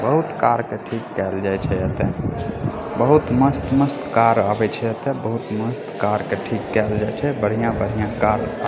बहुत कार के ठीक केएल जाय छै एता बहुत मस्त मस्त कार आवे छै एता बहुत मस्त कार के ठीक कायएल जाय छै बढ़िया-बढ़िया कार के --